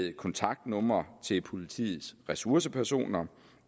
er kontaktnumre til politiets ressourcepersoner